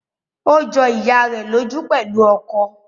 Ó jọ ìyá rẹ̀ lójú pẹ̀lú ọkọ̀